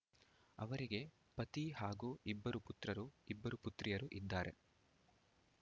ಅವರಿಗೆ ಪತಿ ಹಾಗೂ ಇಬ್ಬರು ಪುತ್ರರು ಇಬ್ಬರು ಪುತ್ರಿಯರು ಇದ್ದಾರೆ